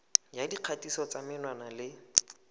ya dikgatiso tsa menwana le